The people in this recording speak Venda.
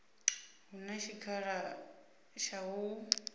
hu na tshikhala tsha u